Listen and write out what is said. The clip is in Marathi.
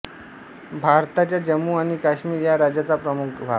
भारताच्या जम्मू आणि काश्मीर या राज्याचा प्रमुख भाग